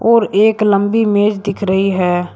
और एक लंबी मेज दिख रही है।